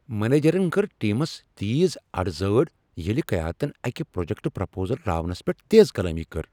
منیجرن کر ٹیمس تیز ٲڈ زٲڈ ییٚلہ قیادتن اكہِ پروجكٹ پرپوزل راونس پیٹھ تیز کلامی کٔر۔